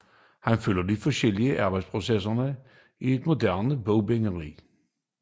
Man følger de forskellige arbejdsprocesser i et moderne bogbinderi